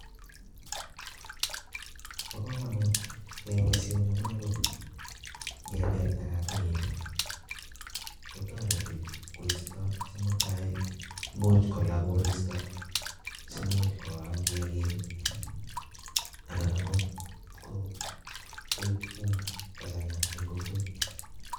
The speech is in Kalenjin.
Bo komonut keyai boisoni, amunee ko ni. Ng'ebel tagatagek, kotoreti koisto che mutai, imuch kolaa koristo, simuch koam kiagik, anan ang'ot um koib umbu kochang'a eng' kokwet.